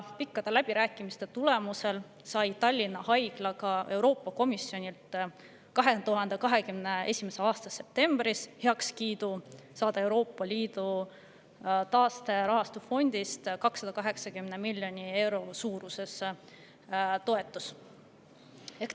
Pikkade läbirääkimiste tulemusel andis Euroopa Komisjon 2021. aasta septembris heakskiidu sellele, et Tallinna Haigla saab Euroopa Liidu taasterahastust 280 miljoni euro suuruse toetuse.